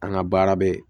An ka baara bɛ